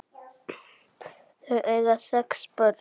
Þau eiga sex börn.